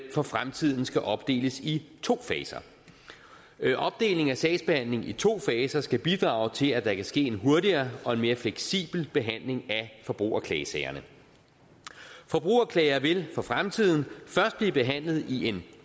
for fremtiden skal opdeles i to faser opdelingen af sagsbehandlingen i to faser skal bidrage til at der kan ske en hurtigere og en mere fleksibel behandling af forbrugerklagesagerne forbrugerklager vil for fremtiden først blive behandlet i en